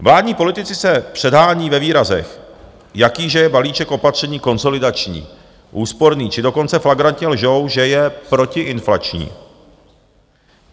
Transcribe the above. Vládní politici se předhánějí ve výrazech, jaký že je balíček opatření konsolidační, úsporný či dokonce flagrantně lžou, že je protiinflační.